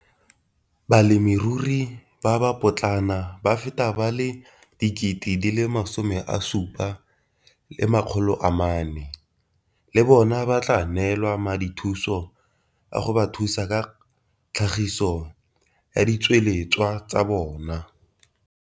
Balemirui ba ba potlana ba feta ba le 74 000 le bona ba tla neelwa madithuso a go ba thusa ka tlhagiso ya ditsweletswa tsa bona.